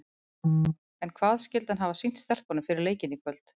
En hvað skyldi hann hafa sýnt stelpunum fyrir leikinn í kvöld?